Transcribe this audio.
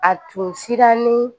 A tun sirani